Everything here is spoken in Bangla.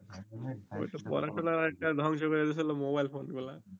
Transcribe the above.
ওই টো পড়া টরা অনেকটা ধ্বংস করে ফেলল মোবাইল ফোন গুলা